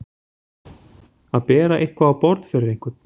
Að bera eitthvað á borð fyrir einhvern